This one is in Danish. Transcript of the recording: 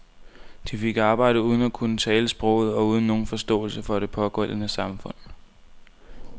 De fik arbejde uden at kunne tale sproget og uden nogen forståelse for det pågældende samfund.